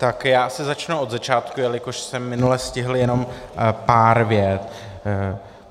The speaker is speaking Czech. Tak já asi začnu od začátku, jelikož jsem minule stihl jenom pár vět.